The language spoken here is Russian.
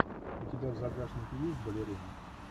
у тебя в загашнике есть балерина